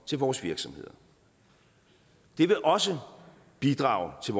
til vores virksomheder det vil også bidrage til